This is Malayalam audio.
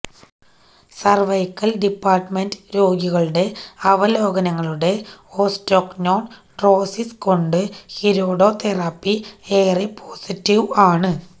സർവൈക്കൽ ഡിപ്പാർട്ട്മെന്റ് രോഗികളുടെ അവലോകനങ്ങളുടെ ഓസ്റ്റോക്നോൻഡ്രോസിസ് കൊണ്ട് ഹിരോഡോതെറാപ്പി ഏറെ പോസിറ്റീവ് ആണ്